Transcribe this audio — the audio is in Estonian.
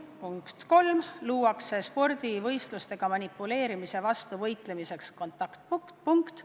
Punkt kolm, spordivõistlustega manipuleerimise vastu võitlemiseks luuakse kontaktpunkt.